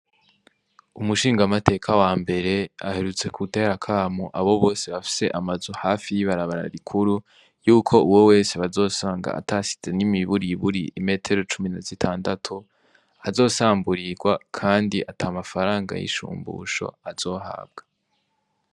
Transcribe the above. Umushingamateka wambere aherutse gutera akamo abo bose bafise amazu hafi yibarabara rikuru, yuko uwo wese bazosanga atasize nimiburiburi imetero cumi na zitandatu azosamburirwa kandi ata mafaranga y'ishumbusho azohabwa.